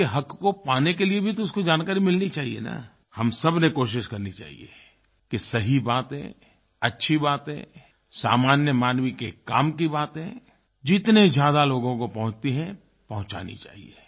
उसके हक़ को पाने के लिए भी तो उसको जानकारी मिलनी चाहिये न हम सबको कोशिश करनी चाहिये कि सही बातें अच्छी बातें सामान्य मानव के काम की बातें जितने ज़्यादा लोगों को पहुँचती हैं पहुंचानी चाहिए